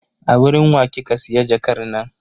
A wurin wa kika siya jakar nan?